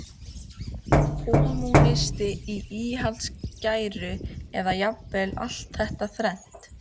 kommúnisti í íhaldsgæru, eða jafnvel allt þetta þrennt.